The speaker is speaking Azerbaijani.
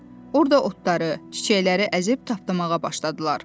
Orda otları, çiçəkləri əzib tapdalamağa başladılar.